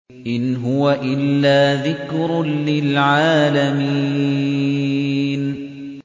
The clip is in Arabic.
إِنْ هُوَ إِلَّا ذِكْرٌ لِّلْعَالَمِينَ